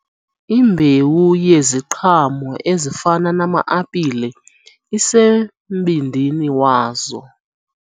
Imbewu yeziqhamo ezifana nama-apile isembindini wazo.